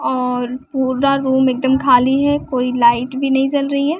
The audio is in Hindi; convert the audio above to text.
और पूरा रूम एकदम खाली है कोई लाइट भी नहीं जल रही है।